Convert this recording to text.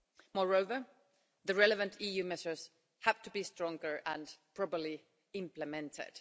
Moreover, the relevant EU measures have to be stronger and properly implemented.